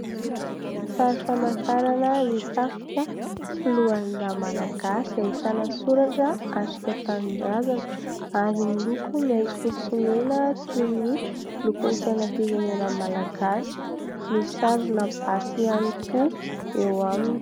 Sary famantarana ny tafika, foloalindahy malagasy. Ahitana soratra "atrika tanindrazana" ary miloko maitso, forsy, mena toy ny lokon'ny sainam-pirenena malagasy. Misy sarina basy ihany koa eo aminy.